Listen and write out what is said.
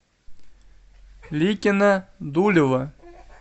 ликино дулево